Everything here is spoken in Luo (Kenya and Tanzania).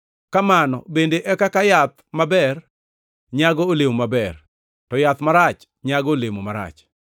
Kamano bende e kaka yath maber nyago olemo maber, to yath marach nyago olemo marach.